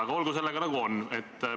Aga olgu sellega, nagu on.